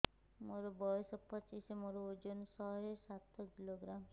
ମୋର ବୟସ ପଚିଶି ମୋର ଓଜନ ଶହେ ସାତ କିଲୋଗ୍ରାମ